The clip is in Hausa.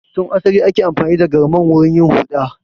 Tun asali ake amfani da Galman wurin yin huɗa.